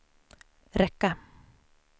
räcka